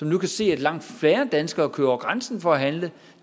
nu kan se at langt færre danskere kører over grænsen for at handle